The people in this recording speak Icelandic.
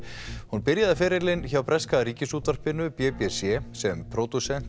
hún byrjaði ferilinn hjá breska Ríkisútvarpinu b b c sem